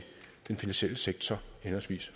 den finansielle sektor henholdsvis